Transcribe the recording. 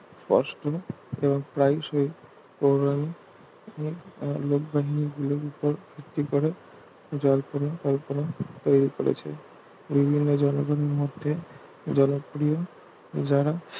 বস করে এবং প্রায়শই পৌরাণিক একটি করে জল্পনা কল্পনা তৈরি করেছে জনগণের মতে জনপ্রিয় যারা